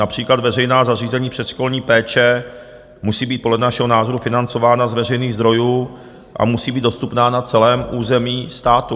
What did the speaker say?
Například veřejná zařízení předškolní péče musí být podle našeho názoru financována z veřejných zdrojů a musí být dostupná na celém území státu.